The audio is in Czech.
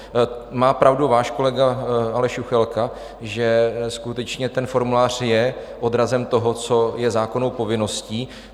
Má pravdu váš kolega Aleš Juchelka, že skutečně ten formulář je odrazem toho, co je zákonnou povinností.